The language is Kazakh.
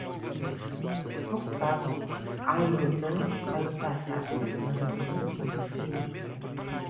тоқтап айылды қайта тартып мінуді білмейді екем